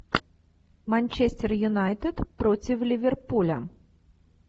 манчестер юнайтед против ливерпуля